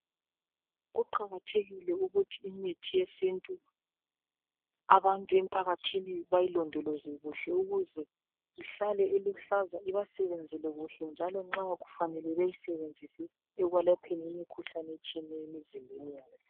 kuqakathekile ukuthi imithi yesintu abantu empakathini bayilondoloze kuhle ukuze ihlaza iluhlaza ibasebenzele kuhle njalo nxa kufanele bayisebenzise ekwelapheni imikhuhlane etshiyeneyo emzimbeni yabo.